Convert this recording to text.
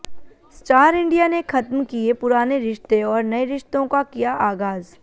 star India ने खत्म किए पुराने रिश्ते और नए रिश्तों का किया आगाज